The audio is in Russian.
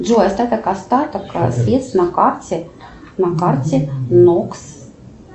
джой остаток остаток средств на карте на карте нокс